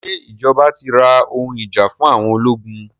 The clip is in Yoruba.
Ṣé ìjọba ti ra ohun ìjà fún àwọn ológun?